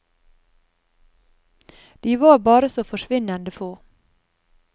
De var bare så forsvinnende få.